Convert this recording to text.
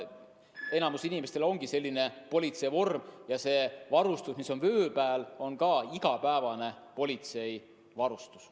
Enamikul ongi selline politseivorm ja see varustus, mis on vöö peal, on igapäevane politseivarustus.